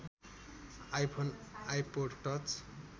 iPhone iPod touch